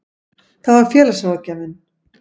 Það var félagsráðgjafinn.